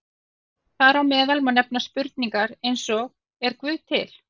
Þar á meðal má nefna spurningar eins og Er Guð til?